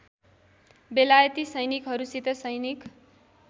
बेलायती सैनिकहरूसित सैनिक